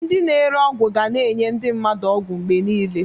Ndị na-ere ọgwụ ga na-enye ndị mmadụ ọgwụ mgbe niile.